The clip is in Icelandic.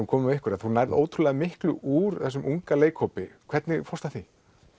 komum að ykkur þú nærð ótrúlega miklu úr þessum unga leikhópi hvernig fórstu að því